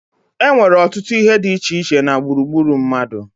E nnwere ọtụtụ ihe di iche iche na gburugburu mmadu